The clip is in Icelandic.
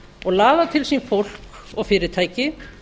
og laða til sín fólk og fyrirtæki